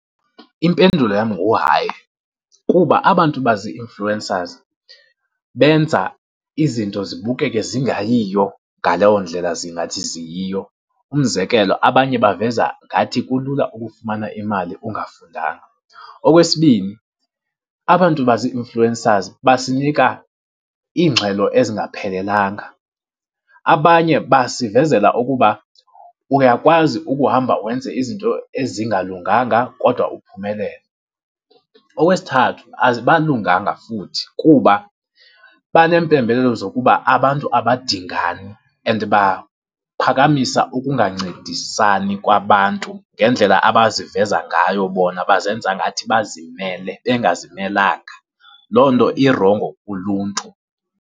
Impendulo yam nguhayi kuba abantu bazi-influencers benza izinto zibukeke zingayiyo ngaleyo ndlela zingathi ziyiyo. Umzekelo abanye baveza ngathi kulula ukufumana imali ungafundanga. Okwesibini abantu bazi-influencers basinika iingxelo ezingaphelelanga, abanye basivezela ukuba uyakwazi ukuhamba wenze izinto ezingalunganga kodwa uphumelele. Okwesithathu futhi kuba baneempembelelo zokuba abantu abadingani and baphakamisa ukungancedisani kwabantu ngendlela abaziveza ngayo bona bazenza ngathi bazimele bengazimelanga, loo nto irongo kuluntu.